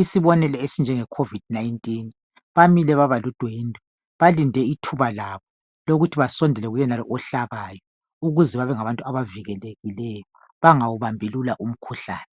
.Isibonelo esinjenge COVID 19 . Bamile babaludwendwe balinde ithuba labo lokuthi basondele kuyenalo ohlabayo .Ukuze babe ngabantu aba vikelekileyo bangawubambi umkhuhlane .